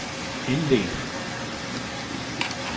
indledte